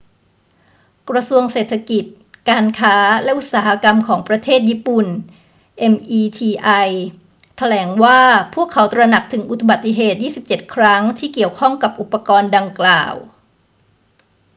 กระทรวงเศรษฐกิจ การค้า และอุตสาหกรรมของประเทศญี่ปุ่น meti แถลงว่าพวกเขาตระหนักถึงอุบัติเหตุ 27 ครั้งที่เกี่ยวข้องกับอุปกรณ์ดังกล่าว